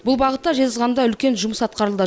бұл бағытта жезқазғанда тың жұмыс атқарылды